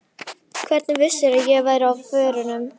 Hvernig vissirðu að ég væri á förum?